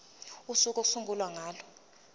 usuku okuyosungulwa ngalo